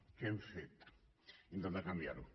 què hem fet intentar canviarho